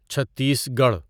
چھتیس گڑھ